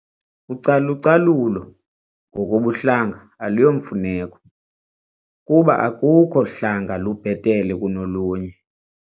Ucalucalulo ngokobuhlanga aluyomfuneko kuba akukho hlanga lubhetele kunolunye.